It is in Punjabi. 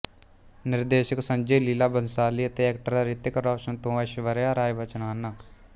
ਨਿਰਦੇਸ਼ਕ ਸੰਜੇ ਲੀਲਾ ਬੰਸਾਲੀ ਅਤੇ ਐਕਟਰ ਰਿਤੀਕ ਰੋਸ਼ਨ ਤੇ ਐਸ਼ਵਰਿਆ ਰਾਏ ਬੱਚਨ ਹਨ